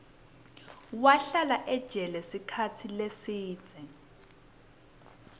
wahlala ejele sikhatsi lesidze